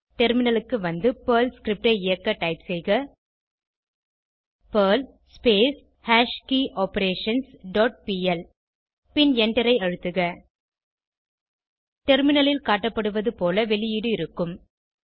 டெர்மினலுக்கு வந்து perl script ஐ இயக்க டைப் செய்க பெர்ல் ஹாஷ்கியோபரேஷன்ஸ் டாட் பிஎல் பின் எண்டரை அழுத்துக டெர்மினலில் காட்டப்படுவது போல வெளியீடு இருக்கும்